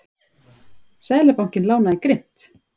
Seðlabankinn lánaði grimmt